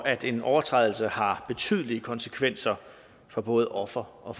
at en overtrædelse har betydelige konsekvenser for både offer og